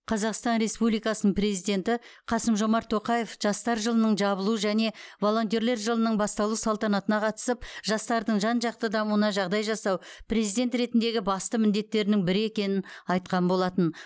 қазақстан республикасының президенті қасым жомарт тоқаев жастар жылының жабылу және волонтер жылының басталу салтанатына қатысып жастардың жан жақты дамуына жағдай жасау президент ретіндегі басты міндеттерінің бірі екенін айтқан болатын